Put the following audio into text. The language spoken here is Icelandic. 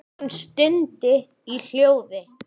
Hann stundi í hljóði.